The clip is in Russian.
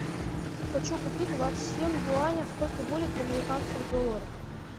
хочу купить двадцать семь юаней сколько будет в американских долларах